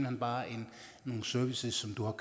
hen bare en service som du har